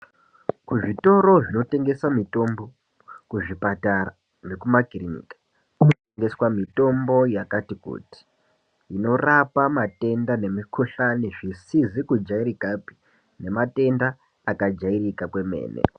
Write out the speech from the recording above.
Kuzvitoro zvinotengese mitombo, kuzvipatara nekumakiriniki kunotengeswe mitombo yakati kuti inorapa matenda nemikuhlani zvisizikujairikapi nematenda akajairika kwemene.